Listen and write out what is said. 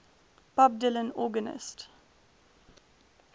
bob dylan organist